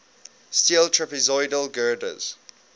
steel trapezoidal girders